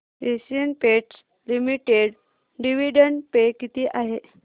Asian Paints limited dividend pay किती आहे